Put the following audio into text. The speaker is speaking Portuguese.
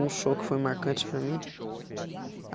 Um show que foi marcante para mim? Ah